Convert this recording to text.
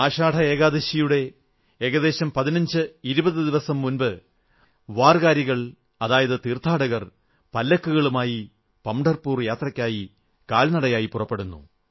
ആഷാഢ ഏകാദശിയുടെ ഏകദേശം 1520 ദിവസം മുമ്പ് വാർകരികൾ അതായത് തീർഥാടകർ പല്ലക്കുകളുമായി പംഢർപൂർ യാത്രക്ക് കാൽനടയായി പുറപ്പെടുന്നു